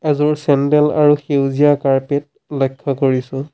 এযোৰ চেণ্ডেল আৰু সেইজীয়া কাৰ্পেট লক্ষ্য কৰিছোঁ।